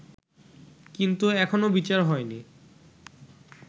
কিন্তু এখনো বিচার হয়নি